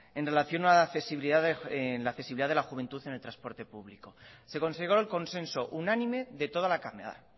en relación a la accesibilidad de la juventud en el transporte público se consiguió el consenso unánime de toda la cámara